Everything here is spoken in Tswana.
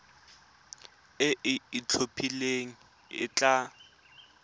e e itlhophileng e tla